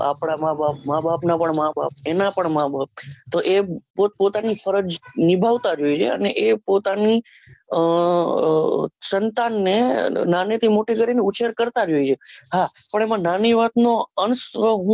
આપના માં બાપ માં બાપના પણ માં બાપ એના પણ માં બાપ તો એ પોત પોત પોતાની ફરજ નીભાવતા હોય છે એને એ પોતાની આહ સંતાન ને નાનેથી મોટા કરીને ઉછેર કરતા જ હોઈએ હા પણ એમાં નાની વાતનો અંશ હું